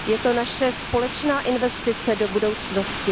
Je to naše společná investice do budoucnosti.